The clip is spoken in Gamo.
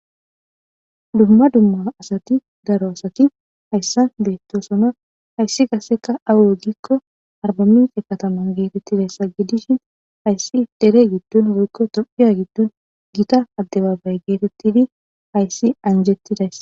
Duma duma darro assati hayisani betossona hayisi qasseka awe giko arbaminice katama getetesi. Hasi qassi derre giddoni woyiko tophphiya giddoni gitta adebabaye gettetidi anjetidayissa.